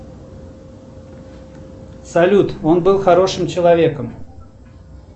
салют он был хорошим человеком